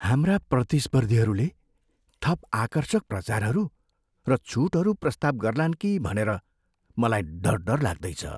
हाम्रा प्रतिस्पर्धीहरूले थप आकर्षक प्रचारहरू र छुटहरू प्रस्ताव गर्लान् कि भनेर मलाई डर डर लाग्दै छ।